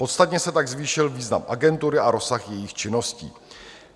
Podstatně se tak zvýšil význam agentury a rozsah jejích činností.